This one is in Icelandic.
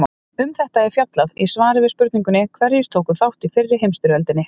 Um þetta er fjallað í svari við spurningunni Hverjir tóku þátt í fyrri heimsstyrjöldinni?